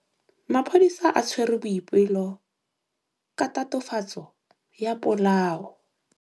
Maphodisa a tshwere Boipelo ka tatofatsô ya polaô.